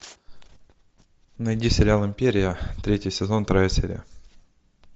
найди сериал империя третий сезон вторая серия